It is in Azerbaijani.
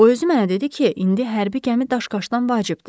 O özü mənə dedi ki, indi hərbi gəmi daşqaşdan vacibdir.